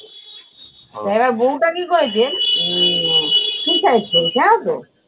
এবার বৌটা কী করেছে উম suicide করেছে জানতো?